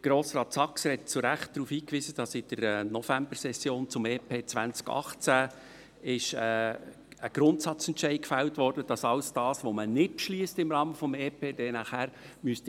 Grossrat Saxer hat zu Recht darauf hingewiesen, dass in der Novembersession ein Grundsatzentscheid zum EP 2018 gefällt wurde, nämlich, dass all das, was man im Rahmen des EP nicht beschliesst, nachher